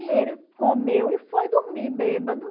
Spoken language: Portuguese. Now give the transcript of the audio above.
E ele comeu e foi dormir bêbado.